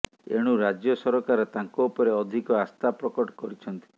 ଏଣୁ ରାଜ୍ୟ ସରକାର ତାଙ୍କ ଉପରେ ଅଧିକ ଆସ୍ଥା ପ୍ରକଟ କରିଛନ୍ତି